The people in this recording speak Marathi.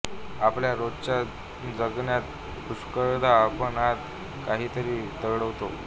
आपल्या रोजच्या जगण्यात पुष्कळदा आपण आत काहीतरी दडवतो